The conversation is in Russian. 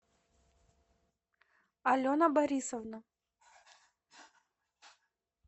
алена борисовна